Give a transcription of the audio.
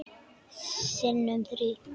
Sinnum þrír.